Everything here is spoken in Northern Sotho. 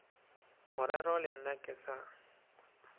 morero le nna ke sa